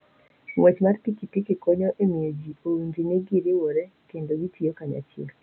Ng'wech mar pikipiki konyo e miyo ji owinj ni giriwore kendo gitiyo kanyachiel.